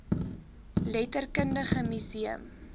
letterkundige mu seum